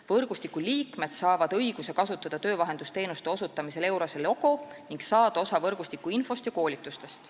Võrgustiku liikmed saavad õiguse kasutada töövahendusteenuste osutamisel EURES-e logo ning saada osa võrgustiku infost ja koolitustest.